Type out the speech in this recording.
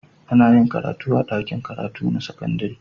Ana yin karatu a dakin karatu na sakandari